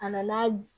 A nana